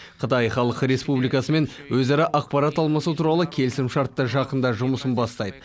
қытай халық республикасымен өзара ақпарат алмасу туралы келісімшарт та жақында жұмысын бастайды